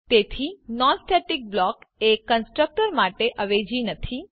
તેથી non static block એ constructor માટે અવેજી નથી